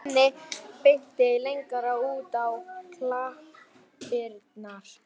Svenni benti lengra út á klappirnar.